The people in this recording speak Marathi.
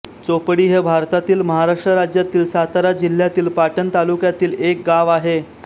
चोपडी हे भारतातील महाराष्ट्र राज्यातील सातारा जिल्ह्यातील पाटण तालुक्यातील एक गाव आहे